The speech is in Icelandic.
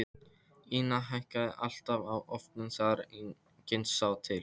Ína hækkaði alltaf á ofnunum þegar enginn sá til.